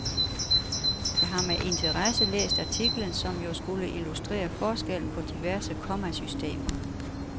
Jeg har med interesse læst artiklen, som jo skulle illustrere forskellen på diverse kommasystemer.